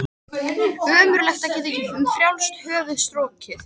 Ömurlegt að geta ekki um frjálst höfuð strokið.